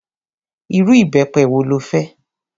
Irú ìbẹpẹ wo lo fẹ́?